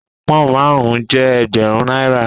Pón márùn-ún jẹ́ Ẹgbẹ̀rún náírà.